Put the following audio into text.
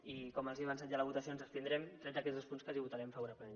i com els he avançat ja a la votació ens abstindrem tret d’aquests dos punts que hi votarem favorablement